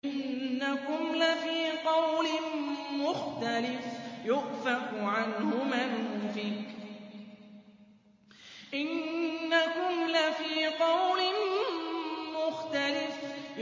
إِنَّكُمْ لَفِي قَوْلٍ مُّخْتَلِفٍ